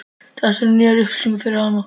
Þetta eru nýjar upplýsingar fyrir hana.